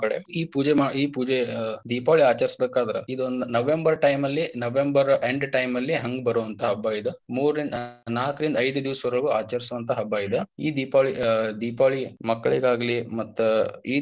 ಈ ಪೂಜೆ ಈ ಪೂಜೆ ದೀಪಾವಳಿ ಆಚರಿಸಬೇಕಾದ್ರ ಇದೊಂದ November time ಲ್ಲಿ November time end ಲ್ಲಿ ಹಂಗ ಬರುವಂತಹ ಹಬ್ಬ ಇದ ಮೂರಿಂದ ನಾಲ್ಕರಿಂದ ಐದ ದಿವಸವರ್ಗು ಆಚರಿಸುವಂತ ಹಬ್ಬ ಇದ ಈ ದೀಪ~ ದೀಪಾವಳಿ ಮಕ್ಕಳಿಗಾಗಲಿ ಮತ್ತ ಈ.